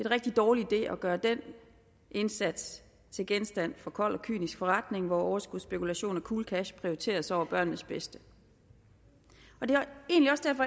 rigtig dårlig idé at gøre indsatsen til genstand for kold og kynisk forretning hvor overskudsspekulation og cool cash prioriteres over børnenes bedste og det